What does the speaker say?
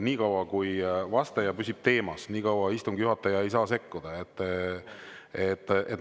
Nii kaua, kui vastaja püsib teemas, istungi juhataja ei saa sekkuda.